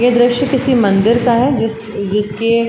यह दृश्य किसी मंदिर का है। जिस जिसके --